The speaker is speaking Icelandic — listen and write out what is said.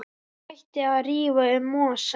Hættið að rífa upp mosann.